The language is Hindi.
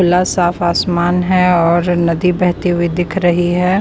खुला साफ आसमान है और नदी बहती हुई दिख रही है।